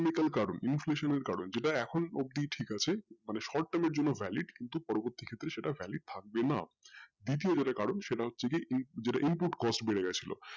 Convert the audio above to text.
technical, inflation এর কারণ যেটা এখন অব্দি ঠিক আছে মানে short term এর জন্য valid থাকবে না দ্বিতীয় যে টা কারণ সেটা হচ্ছে যেটার valid বেড়ে গিয়েছিলো